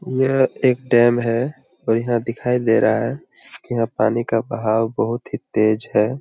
यह एक डैम है और यहां दिखाई दे रहा है कि यहां पानी का बहाओ बहुत ही तेज है।